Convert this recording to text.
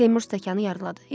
Seymur stəkanı yuxarı qaldırdı.